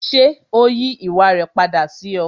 Ṣé ó yí ìwà rẹ padà sí ọ?